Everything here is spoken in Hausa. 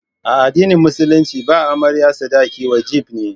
A addinin musulunci ba amarya sadaki wajibi ne.